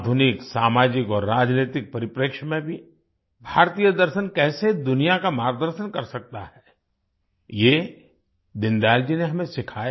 आधुनिक सामाजिक और राजनैतिक परिप्रेक्ष्य में भी भारतीय दर्शन कैसे दुनिया का मार्गदर्शन कर सकता है ये दीनदयाल जी ने हमें सिखाया